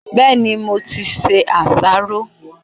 Bẹ́ẹ̀ni, mo ti se àsáró.